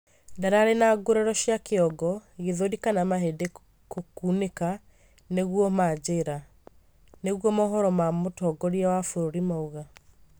ndararĩ na ngũraro cia kĩongo, gĩthũri kana mahĩndĩ kunĩka, nĩguo manjĩra, nĩguo mohoro ma mũtongorĩa wa bũrũri mauga